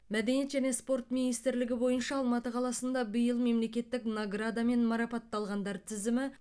мәдениет және спорт министрлігі бойынша алматы қаласында биыл мемлекеттік наградамен марапатталғандар тізімі